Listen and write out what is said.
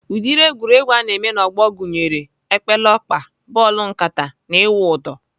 Ụdịrị egwuregwu ana eme n'ọgbọ egwuregwu gụnyere epeleọkpa, bọọlụ nkata na ịwụ ụdọ.